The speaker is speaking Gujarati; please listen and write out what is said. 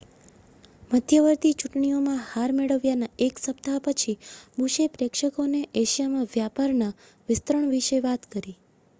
મધ્યવર્તી ચૂંટણીઓમાં હાર મેળવ્યાના એક સપ્તાહ પછી બુશે પ્રેક્ષકોને એશિયામાં વ્યાપારના વિસ્તરણ વિશે વાત કરી